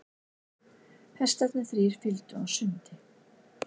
Hestarnir þrír fylgdu á sundi.